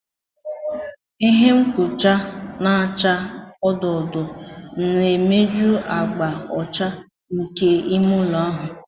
Ihe mkpuchi na-acha odo odo na-emeju agba ọcha nke me ime ụlọ ahụ.